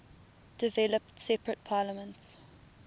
developed separate parliaments